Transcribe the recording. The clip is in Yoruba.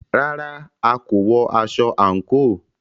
Rárá,a kò wọ aṣọ àńkò.